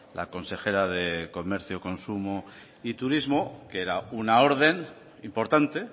la consejera de comercio consumo y turismo que era una orden importante